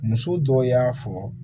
Muso dɔw y'a fɔ